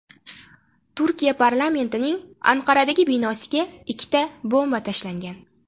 Turkiya parlamentining Anqaradagi binosiga ikkita bomba tashlangan.